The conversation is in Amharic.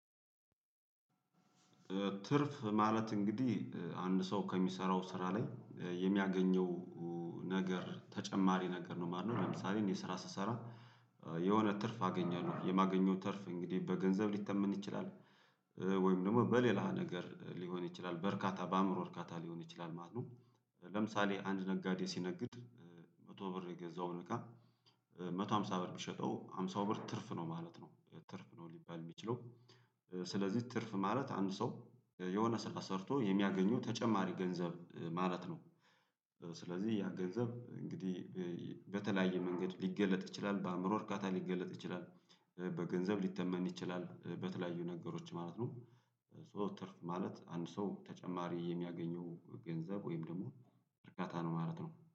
ትርፍ ማለት እንግዲህ አንድ ሰው ከሚሰራው ስራ ላይ የሚያገኘው ነገር ተጨማሪ ነገር ነው ማለት ነው። ለምሳሌ እኔ ስራ ስሰራ የሆነ ትርፍ አገኛለው የማገኘው ትርፍ እንግዲህ በገንዘብ ሊተመን ይችላል። ወይም ደግሞ በሌላ ነገር ሊሆን ይችላል በርካታ በአዕምሮ እርካታ ሊሆን ይችላል ማለት ነው። ለምሳሌ አንድ ነጋዴ ሲነግድ መቶ ብር የገዛውን እቃ ሃምሳ ብር ቢሸጠው ሃምሳው ብር ትርፍ ነው ማለት ነው። ትርፍ ነው ሊባል የሚችለው። ስለዚህ ትርፍ ማለት አንድ ሰው የሆነ ስራ ሰርቶ የሚያገኘው ተጨማሪ ገንዘብ ማለት ነው። ስለዚህ ያ ገንዘብ እንግዲህ በተለያየ መንገድ ሊገለጥ ይችላል በአዕምሮ እርካታ ሊገለጥ ይችላል። በገንዘብ ሊተመን ይችላል በተለያዩ ነገሮች ማለት ነው። ሶ ትርፍ ማለት አንድ ሰው ተጨማሪ የሚያገኘው ገንዘብ ወይም ደግሞ እርካታ ነው ማለት ነው